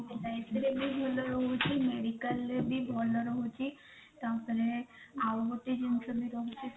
LIC ବି ଭଲ ରହୁଛି medical ରେ ବି ଭଲ ରହୁଛି ତାପରେ ଆଉ ଗୋଟେ ଜିନିଷ ବି ରହୁଛି